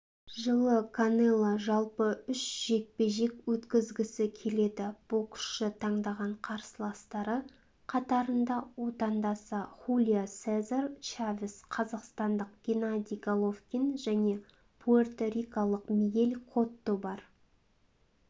жылы канело жалпы үш жекпе-жек өткізгісі келеді боксшы таңдаған қарсыластары қатарындаотандасыхулио сезар чавес қазақстандық геннадий головкин және пуэрториколық мигель котто бар